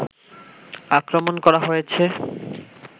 আক্রমণ করা হয়েছে